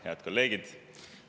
Head kolleegid!